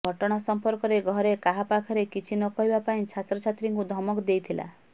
ଘଟଣା ସମ୍ପର୍କରେ ଘରେ କାହା ପାଖରେ କିଛି ନ କହିବା ପାଇଁ ଛାତ୍ରୀଙ୍କୁ ଧମକ ଦେଇଥିଲା